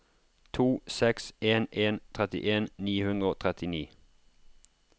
to seks en en trettien ni hundre og trettini